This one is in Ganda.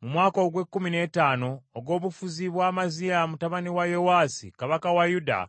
Mu mwaka ogw’ekkumi n’ettaano ogw’obufuzi bwa Amaziya mutabani wa Yowaasi kabaka wa Yuda,